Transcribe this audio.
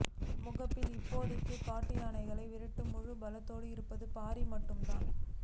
முகாமில் இப்போதைக்குக் காட்டு யானைகளை விரட்ட முழு பலத்தோடு இருப்பது பாரி மட்டும்தான்